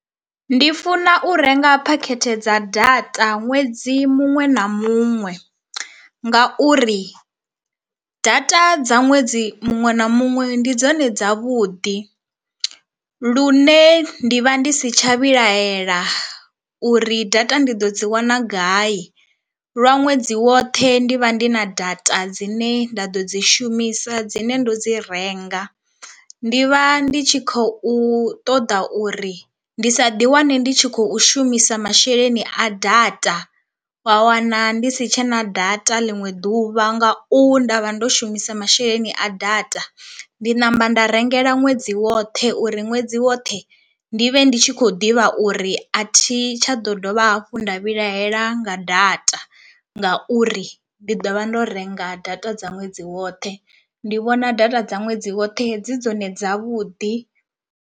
Ndi funa u renga phakhethe dza data ṅwedzi muṅwe na muṅwe, ngauri data dza ṅwedzi muṅwe na muṅwe ndi dzone dzavhuḓi lune ndi vha ndi si tsha vhilahela uri data ndi ḓo dzi wana gai lwa ṅwedzi woṱhe ndi vha ndi na data dzine nda ḓo dzi shumisa dzine ndo dzi renga. Ndi vha ndi tshi khou ṱoḓa uri ndi sa ḓi wane ndi tshi khou shumisa masheleni a data wa wana ndi si tshena data ḽiṅwe ḓuvha ngau nda vha ndo shumisa masheleni a data, ndi namba nda rengela ṅwedzi woṱhe uri ṅwedzi woṱhe ndi vhe ndi tshi khou ḓivha uri a thi tsha ḓo dovha hafhu nda vhilahela nga data ngauri ndi ḓo vha ndo renga data dza ṅwedzi woṱhe. Ndi vhona data dza ṅwedzi woṱhe dzi dzone dzavhuḓi.